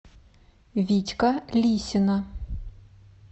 витька лисина